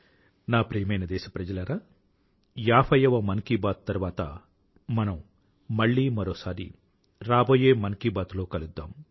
నా ప్రియమైన దేశప్రజలారా ఏభైయ్యవ మన్ కీ బాత్ తరువాత మనం మళ్ళీ మరోసారి రాబోయే మన్ కీ బాత్ లో కలుద్దాం